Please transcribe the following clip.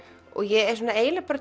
og ég eiginlega